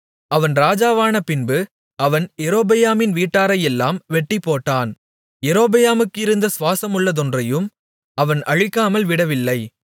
அவன் ராஜாவானபின்பு அவன் யெரொபெயாமின் வீட்டாரையெல்லாம் வெட்டிப்போட்டான் யெரொபெயாமுக்கு இருந்த சுவாசமுள்ளதொன்றையும் அவன் அழிக்காமல் விடவில்லை